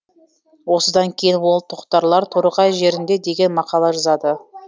осыдан кейін ол тоқтарлар торғай жерінде деген мақала жазады